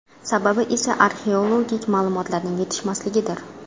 Sababi esa arxeologik ma’lumotlarning yetishmasligidir.